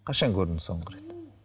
қашан көрдің соңғы рет